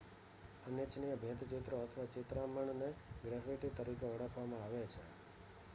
અનિચ્છનીય ભીંતચિત્રો અથવા ચિતરામણને ગ્રેફિટી તરીકે ઓળખવામાં આવે છે